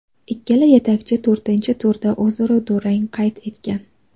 Ikkala yetakchi to‘rtinchi turda o‘zaro durang qayd etgan.